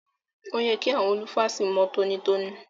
Òye kí àwọn lúfàsì mọ́ tọ́nítọ́ní.